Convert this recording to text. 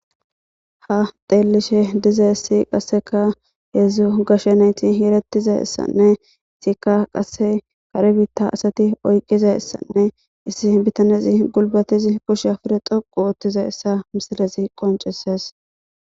Ha xeellishe dizayissi qasseka heedzdzu gashshanayti heerettizasanne isikka qasse kare biitta asati oyqizasanne issi bitanezi gulbatizi pushi pude xoqu oottiza issa misilezi qoncises.